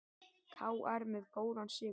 KR með góðan sigur